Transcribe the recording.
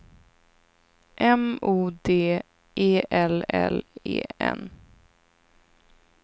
M O D E L L E N